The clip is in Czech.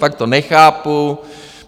Fakt to nechápu.